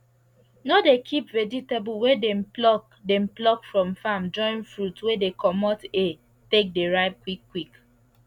no dey keep vegetable wey dem pluck dem pluck from farm join fruit wey dey comot air take dey ripe quick quick